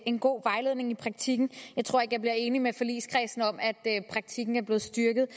en god vejledning i praktikken jeg tror ikke jeg bliver enig med forligskredsen om at praktikken er blevet styrket